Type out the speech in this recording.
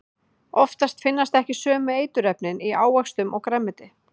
Oftast finnast ekki sömu eiturefnin í ávöxtum og grænmeti.